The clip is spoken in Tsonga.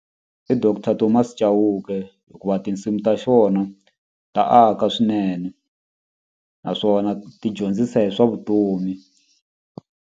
I doctor Thomas Chauke hikuva tinsimu ta xona ta aka swinene naswona ti dyondzisa hi swa vutomi.